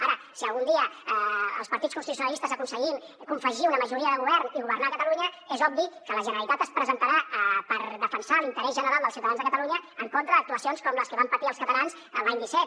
ara si algun dia els partits constitucionalistes aconseguim confegir una majoria de govern i governar a catalunya és obvi que la generalitat es presentarà per defensar l’interès general dels ciutadans de catalunya en contra d’actuacions com les que van patir els catalans l’any disset